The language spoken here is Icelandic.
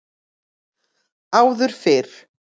Áður fyrr